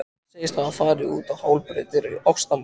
Hann segist hafa farið út á hálar brautir í ástamálum.